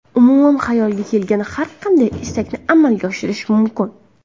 Umuman, xayolga kelgan har qanday istakni amalga oshirish mumkin.